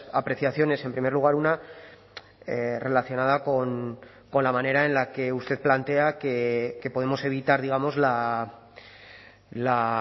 apreciaciones en primer lugar una relacionada con la manera en la que usted plantea que podemos evitar digamos la